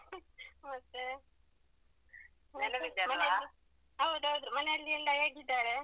ಮತ್ತೆ, ಮನೆಯಲ್ಲಿ ಹೌದು ಹೌದು ಮನೆಯಲ್ಲಿ ಎಲ್ಲ ಹೇಗಿದ್ದಾರೆ?